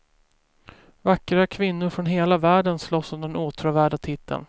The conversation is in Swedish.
Vackra kvinnor från hela världen slåss om den åtråvärda titeln.